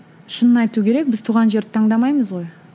шынын айту керек біз туған жерді таңдамаймыз ғой